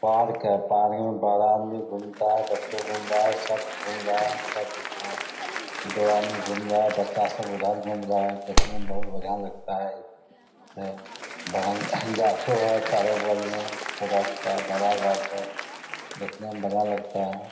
Park है। Park में बड़ा आदमी घूमता है। बच्चो घूम रहा है सब घूम रहा है सब दिख रहा है। दो आदमी घूम रहा है। बच्चा सब उधर घूम रहा है। देखने में बहुत बढ़िया लगता है। से बगल गाछो है चारो बगल मे छोटा-छोटा बड़ा गाछ है। देखने में बढ़िया लगता है।